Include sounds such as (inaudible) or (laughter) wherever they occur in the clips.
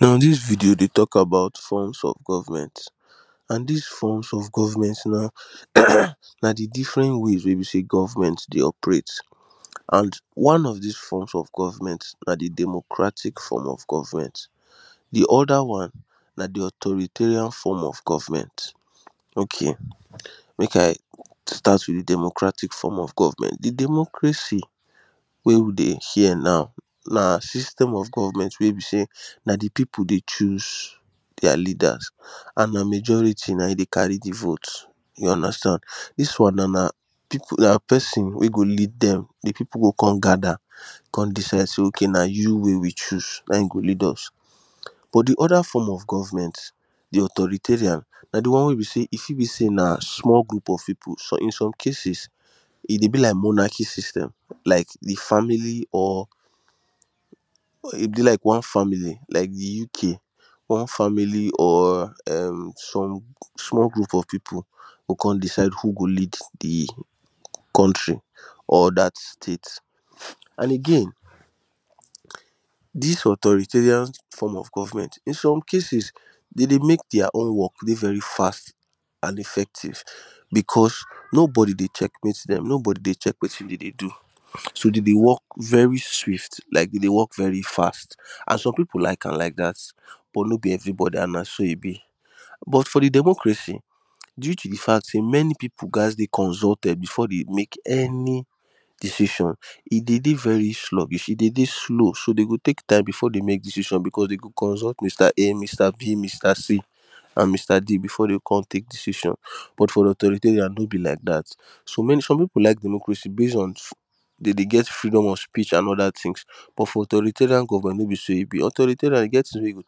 Now this video dey talk about forms of government and this forms of government na (coughs) na the different ways wey be say government dey operate and one of this forms of government na the democratic form of government the other one na the authoritarian form of government okay make I start with democratic form of government the democracy wey we dey here now na system of government wey be say na the people dey choose their leaders and na majority na him dey carry the vote you understand this one now na people na person wey go lead them the people go come gather come decide say Okay na you wey we choose na im go lead us but the other form of government the authoritarian na the one wey be say e fit say na small group of people in some cases e dey be like monarchy system like the family or e be like one family like the UK one family or um some small group of people go come decide who go lead the country or that state and again this authoritarian form of government in some cases dem dey make their own work dey very fast and effective because nobody dey checkmate them nobody dey check wetin dem dey do so dem dey work very swift like dem dey work very fast and some people like am like that but no be everybody and na so e be but for the democracy due to the fact say many people gas dey consulted before they make any decision e dey dey very sluggish e dey dey slow so dem go take time before dem make any decision because dem go consult Mr A Mr b Mr c and Mr d before dem go come take decision but for authoritarian no be like that so some people like democracy base on dem dey get freedom of speech and other things but for authoritarian government no be so e be authoritarian e get something wey you go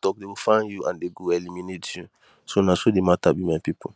talk dem go find you and they do eliminate you so na so the matter be my people